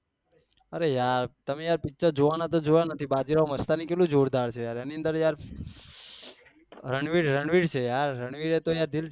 અરે યાર તમે યાર picture જોવાના તો જોવા નહી બાજીરાવ મસ્તાની કેટલી જોરદાર છે યાર એની અંદર યાર રણવીર રણવીર છે યાર રણવીર એ તો દિલ જીતી